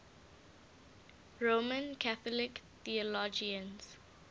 roman catholic theologians